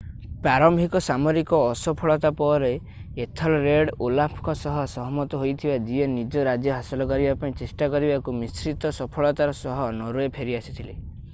ପ୍ରାରମ୍ଭିକ ସାମରିକ ଅସଫଳତା ପରେ ଏଥଲ୍‌ରେଡ୍ ଓଲାଫ୍‌ଙ୍କ ସହ ସହମତ ହୋଇଥିଲେ ଯିଏ ନିଜ ରାଜ୍ୟ ହାସଲ କରିବା ପାଇଁ ଚେଷ୍ଟା କରିବାକୁ ମିଶ୍ରିତ ସଫଳତାର ସହ ନର୍‌ୱେ ଫେରିଆସିଥିଲେ।